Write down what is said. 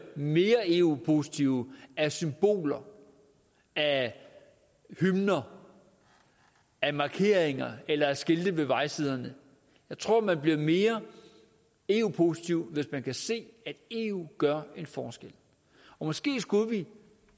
mere eu positive af symboler af hymner af markeringer eller af skilte ved vejsiderne jeg tror at man bliver mere eu positiv hvis man kan se at eu gør en forskel måske skulle vi